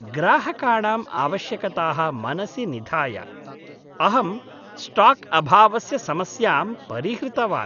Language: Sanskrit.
ग्राहकाणां आवश्यकताः मनसि निधाय, अहं स्टाक् अभावस्य समस्यां परिहृतवान्।